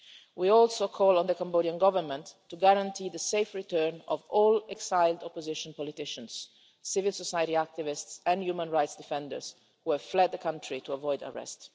We also call on the Cambodian Government to guarantee the safe return of all exiled opposition politicians, civil society activists and human rights defenders who have fled the country to avoid arrest.